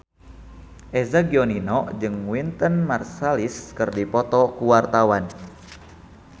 Eza Gionino jeung Wynton Marsalis keur dipoto ku wartawan